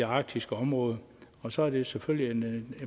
arktiske område og så er det selvfølgelig et